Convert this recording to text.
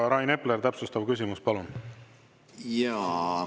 Rain Epler, täpsustav küsimus, palun!